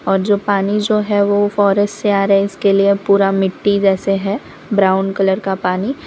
और जो पानी जो है वो फॉरेस्ट से आ रहे है इसके लिए पूरा मिट्टी जैसे है ब्राउन कलर का पानी --